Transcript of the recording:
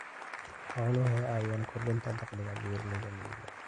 Xooluhu waxay caawiyaan kordhinta dakhliga beeralayda miyiga.